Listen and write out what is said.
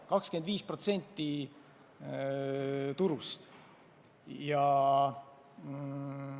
25% turust!